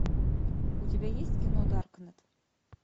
у тебя есть кино даркнет